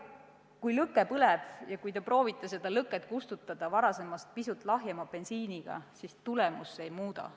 Kui lõke põleb ja te proovite seda kustutada varasemast pisut lahjema bensiiniga, siis tulemust see ei muuda.